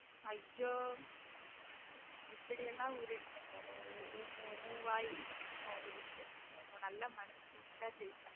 ஐயோ எப்டியெல்லாம் உருட்டுற பாரு உன் உன் உன் உன் வாயி உன் உருட்டு உன் நல்ல மனசுக்கு நீதான் ஜெயிப்ப